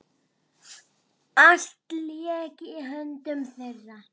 Allt lék í höndum þeirra.